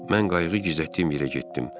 Mən qayığı gizlətdiyim yerə getdim.